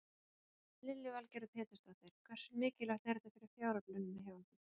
Lillý Valgerður Pétursdóttir: Hversu mikilvægt er þetta fyrir fjáröflunina hjá ykkur?